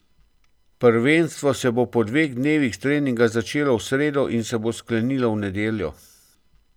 Prvenstvo se bo po dveh dnevih treninga začelo v sredo in se bo sklenilo v nedeljo.